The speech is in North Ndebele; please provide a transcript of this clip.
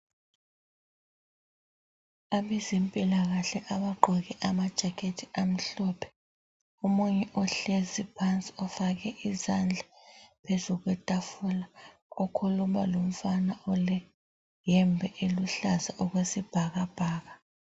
Abezempilakahle abagqoke amajakect amhlophe ,omunye uhlezi phansi ufake izandla phezu kwetafula ukhuluma lomfana oleyembe eluhlaza okwesibhakabhaka.